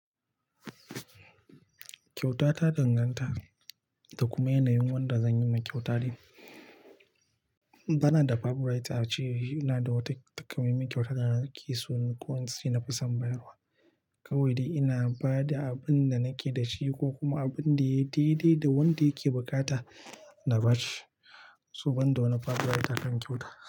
Kyauta ta danganta da kuma yanayin wanda zan yi ma kyauta din. Bana da favorite a ceina da wata takamaiman kyauta da nake so ko ince na fi son bayarwa. Kawai dai ina ba da abin da nake da shi ko kuma abin da ya daidai da wanda yake bukata na ba shi, so banda wani favorite a kan kyauta.